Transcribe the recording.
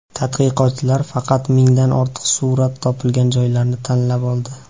Tadqiqotchilar faqat mingdan ortiq surat topilgan joylarni tanlab oldi.